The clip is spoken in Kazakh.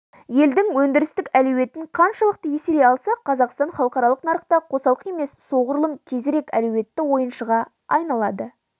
елдің өндірістік әлеуетін қаншалықты еселей алсақ қазақстан халықаралық нарықта қосалқы емес солғұрлым тезірек әлеуетті ойыншыға айналады